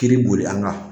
Kiri boli an ka